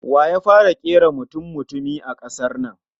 Wa ya fara kera mutummutumi a kasar nan?